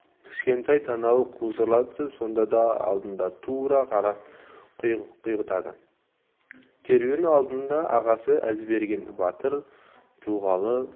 кішкентай танауы қусырыла түсіп сонда да алдына тура қарап құйғытады керуен алдында ағасы әзберген батыр тұлғалы